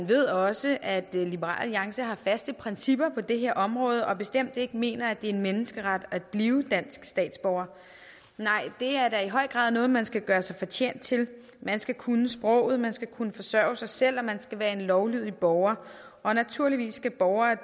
ved også at liberal alliance har faste principper på det her område og bestemt ikke mener at det er en menneskeret at blive dansk statsborger nej det er da i høj grad noget man skal gøre sig fortjent til man skal kunne sproget man skal kunne forsørge sig selv og man skal være en lovlydig borger og naturligvis skal borgere